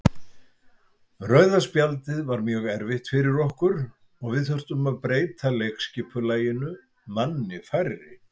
Rauða spjaldið var mjög erfitt fyrir okkur og við þurftum að breyta leikskipulaginu manni færri.